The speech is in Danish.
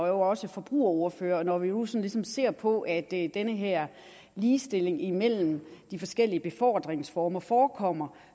jo også forbrugerordfører og når vi nu ligesom ser på at den her ligestilling imellem de forskellige befordringsformer forekommer